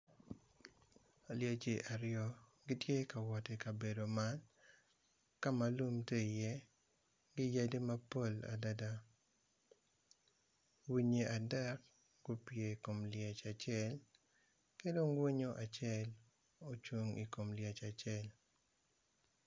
Lyeci aryo gitye ka wot i kabedo man kama lum tye iye gi yadi mapol adada winyi adek gupye i kom lyec acel kidong winyo acel ocung i kom lyec acel.